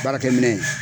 Baarakɛ minɛ